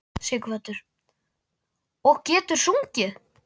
Sighvatur: Og getur sungið?